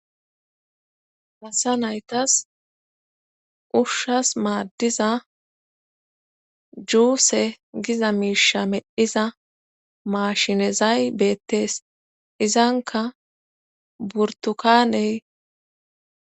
Asa nayitas ushshas maaddiza juuse giza miisha medhiza maashinezay beettees. Izanka burtukaaney